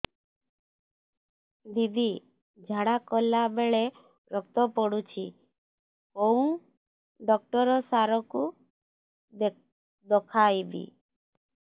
ଦିଦି ଝାଡ଼ା କଲା ବେଳେ ରକ୍ତ ପଡୁଛି କଉଁ ଡକ୍ଟର ସାର କୁ ଦଖାଇବି